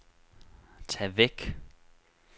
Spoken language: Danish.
tag væk